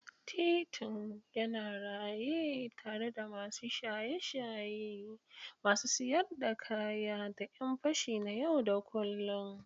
Titin yana raye tare da masu shaye-shaye, masu siyar da kaya, da ƴan fashi na yau da kullun.